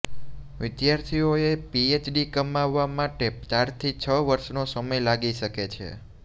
વિદ્યાર્થીઓએ પીએચડી કમાવા માટે ચારથી છ વર્ષનો સમય લાગી શકે છે